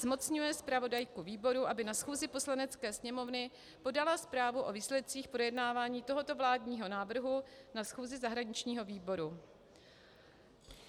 Zmocňuje zpravodajku výboru, aby na schůzi Poslanecké sněmovny podala zprávu o výsledcích projednávání tohoto vládního návrhu na schůzi zahraničního výboru.